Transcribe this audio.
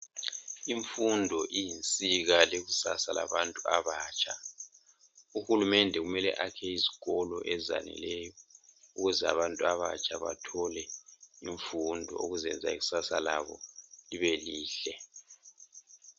Imfundo iyinsika yekusasa labantu abatsha, Uhulumende kumele akhe izikolo ezaneleyo, ukuze abantu abatsha bathole imfundo, ukuze ikusasa labo libelihle.